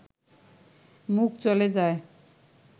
মুখ চলে যায়